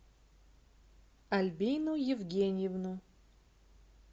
альбину евгеньевну